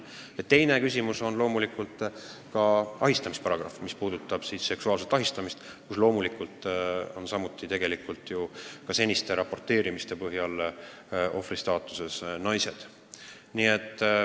Teine on ahistamisparagrahv, mis käsitleb seksuaalset ahistamist, mille ohvrid on loomulikult samuti naised.